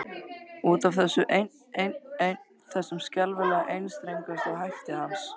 Út af þessu einn, einn, einn, þessum skelfilega einstrengingshætti hans.